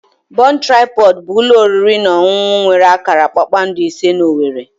Bon Tripọd bụ ụlọ oriri na ọṅụṅụ nwere akara kpakpando ise na owerri.